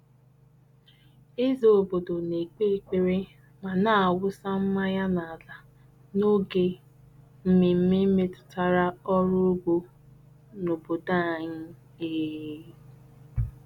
Eze obodo na-ekpe ekpere ma na-awụsa mmanya n'ala n'oge mmemme metụtara ọrụ ugbo n'obodo anyị. um